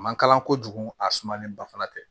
A man kalan kojugu a sumalen ba fana tɛ